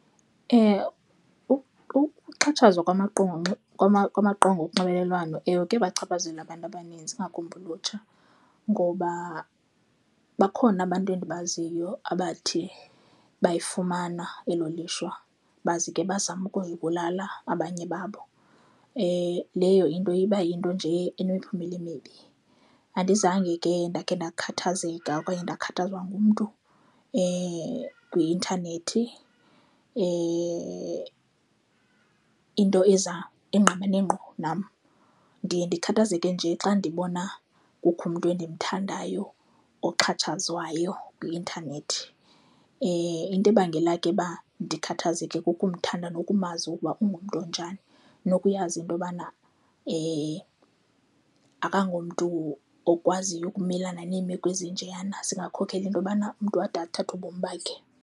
Ukuxhatshazwa kwamaqonga kwamaqonga onxibelelwano, ewe, kuyabachaphazela abantu abaninzi ingakumbi ulutsha ngoba bakhona abantu endibaziyo abathe bayifumana elo lishwa bazi ke bazama ukuzibulala abanye babo. Leyo into iba yinto nje enemiphumela emibi. Andizange ke ndakhe ndakhathazeka okanye ndakhathazwa ngumntu kwi-intanethi, into eza engqamane ngqo nam. Ndiye ndikhathazeke nje xa ndibona kukho umntu endimthandayo oxhatshazwayo kwi-intanethi. Into ebangela ke uba ndikhathazeke kukumthanda nokumazi ukuba ungumntu onjani nokuyazi into yobana akangomntu okwaziyo ukumelana neemeko ezinjeyana. Zingakhokela into yobana umntu ade athathe ubomi bakhe.